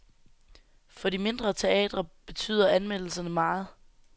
For de mindre teatre betyder anmeldelserne meget.